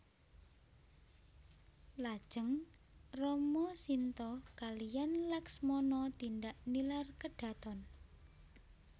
Lajeng Rama Sinta kaliyan Laksmana tindak nilar kedhaton